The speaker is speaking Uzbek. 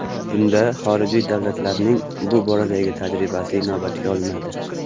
Bunda xorijiy davlatlarning bu boradagi tajribasi inobatga olinadi.